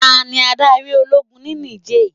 Tani adarí Ológun ni Nìjéè?